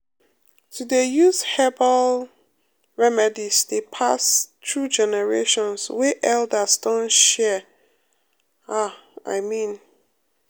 to dey use herbal um remedies dey pass um through generations wey um elders don share ah i mean